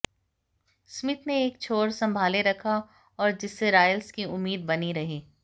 Smith ने एक छोर संभाले रखा और जिससे रायल्स की उम्मीद बनी रही